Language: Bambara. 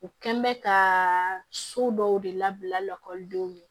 U kɛ bɛ ka so dɔw de labila lakɔlidenw ye